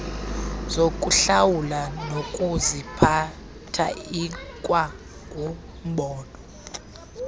zokuhlawula nokuziphatha ikwangumbono